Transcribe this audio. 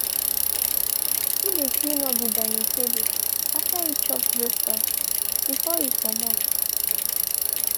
he de cleanup de dining table after e chop breakfast before e comot.